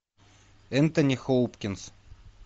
энтони хопкинс